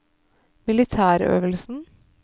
militærøvelsen